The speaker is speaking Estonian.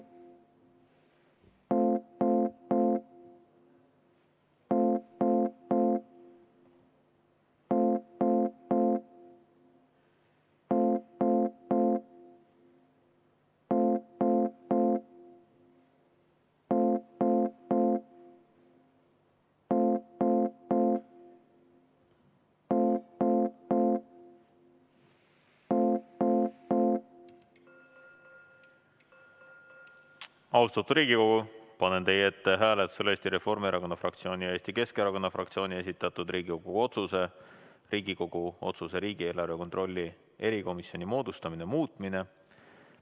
Austatud Riigikogu, panen teie ette hääletusele Eesti Reformierakonna fraktsiooni ja Eesti Keskerakonna fraktsiooni esitatud Riigikogu otsuse "Riigikogu otsuse "Riigieelarve kontrolli erikomisjoni moodustamine" muutmine".